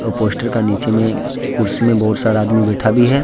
Poster का नीचे में कुर्सी में बहुत सारा आदमी बैठा भी है।